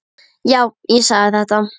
Já, ég sagði þetta.